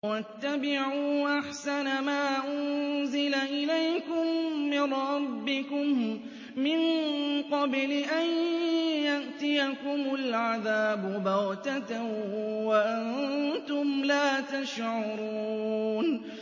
وَاتَّبِعُوا أَحْسَنَ مَا أُنزِلَ إِلَيْكُم مِّن رَّبِّكُم مِّن قَبْلِ أَن يَأْتِيَكُمُ الْعَذَابُ بَغْتَةً وَأَنتُمْ لَا تَشْعُرُونَ